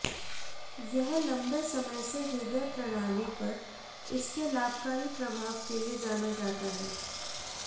यह लंबे समय से हृदय प्रणाली पर इसके लाभकारी प्रभाव के लिए जाना जाता है